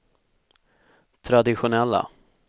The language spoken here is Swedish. traditionella